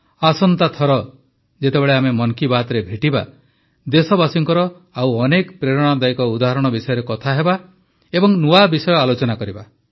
ଆସନ୍ତା ଥର ଯେତେବେଳେ ଆମେ ମନ୍ କୀ ବାତ୍ରେ ଭେଟିବା ଦେଶବାସୀଙ୍କର ଆଉ ଅନେକ ପ୍ରେରଣାଦାୟକ ଉଦାହରଣ ବିଷୟରେ କଥା ହେବା ଏବଂ ନୂଆ ବିଷୟ ଆଲୋଚନା କରିବା